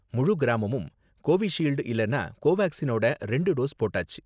முழு கிராமமும் கோவிஷீல்டு இல்லனா கோவாக்சினோட ரெண்டு டோஸ் போட்டாச்சு.